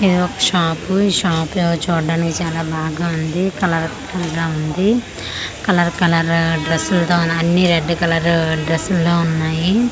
ఇదొక షాపు ఈ షాప్ లో ఎవో చూడ్డానికి చాలా బాగా ఉంది కలర్ఫుల్ గా ఉంది. కలర్ కలరు డ్రస్సు ల్తోనా అన్ని రెడ్ కలరు డ్రెస్ ల్లా ఉన్నాయి.